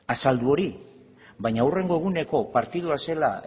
azaldu hori baina hurrengo eguneko partidua zela